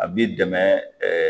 A b'i dɛmɛ